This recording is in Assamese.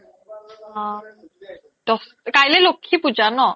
অ, দছ কাইলে লক্ষী পূজা ন ?